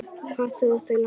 Hvað þurfa þau langa suðu?